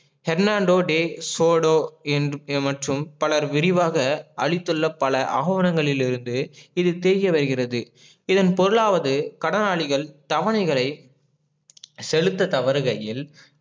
Hernando De Soto மற்றும் பலர் விரிவாக அளித்துள்ள பல ஆவனங்களிலிருந்து இது இதன் பொருளாவது கடனாளிகள் தவணைகளை செலுத்ததவருகையில்